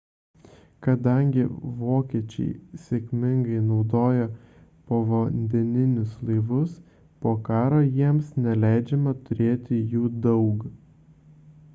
kadangi vokiečiai sėkmingai naudojo povandeninius laivus po karo jiems neleidžiama turėti jų daug